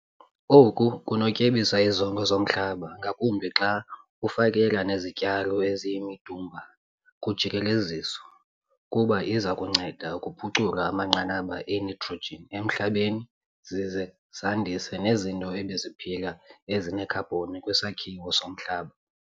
Oku kunokutyebisa izondlo zomhlaba ngakumbi xa ufakela nezityalo eziyimidumba kujikeleziso, kuba iza kunceda ngokuphucula amanqanaba enitrogen emhlabeni zize zandise nezinto ebeziphila ezinekhabhoni kwisakhiwo somhlaba.